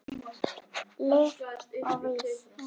Lyf að vísu.